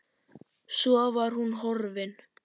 Svo var hún horfin.